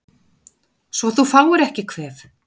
Svo þú fáir ekki kvef